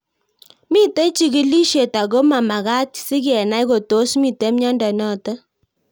Mito chig'ilishet ako momagat si kenai kotos mito miondo notok